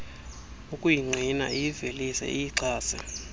ukuyingqina iyivelise iyixhase